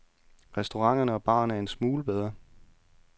Restauranterne og barerne er en smule bedre.